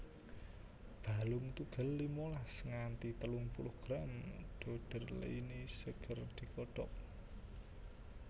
Balung tugel limalas nganthi telung puluh gram doederleinii seger digodhog